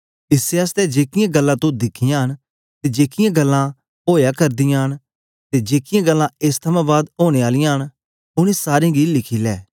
इसै आसतै जेकीयां गल्लां तो दिखियां न ते जेकीयां गल्लां ओया करदीयां ते जेकीयां गल्लां एस थमां बाद ओनें आलियां न ओनें सारें गी लिखी लै